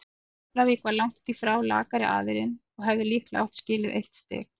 Keflavík var langt í frá lakari aðilinn og hefði líklega átt skilið eitt stig.